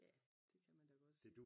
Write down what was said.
ja det kan man da godt sige